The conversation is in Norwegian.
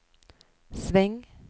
sving